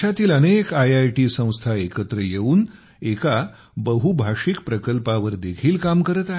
देशातील अनेक आयआयटी संस्था एकत्र येऊन एका बहुभाषिक प्रकल्पावर देखील काम करत आहेत